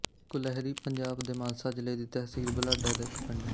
ਕੁਲਹਿਰੀ ਪੰਜਾਬ ਦੇ ਮਾਨਸਾ ਜ਼ਿਲ੍ਹੇ ਦੀ ਤਹਿਸੀਲ ਬੁਢਲਾਡਾ ਦਾ ਇੱਕ ਪਿੰਡ ਹੈ